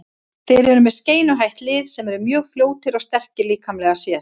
Þeir eru með skeinuhætt lið sem eru mjög fljótir og sterkir líkamlega líka.